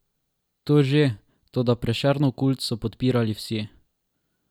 To že, toda Prešernov kult so podpirali vsi.